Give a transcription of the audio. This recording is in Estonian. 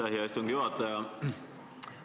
Aitäh, hea istungi juhataja!